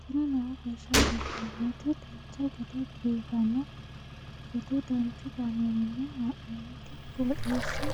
tini lowo geeshsha biiffannoti dancha gede biiffanno footo danchu kaameerinni haa'noonniti qooxeessa